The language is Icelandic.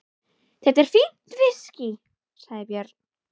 Þetta er fínt viskí, sagði Björn.